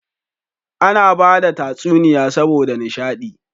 Ana bada tsuniya saboda nisha di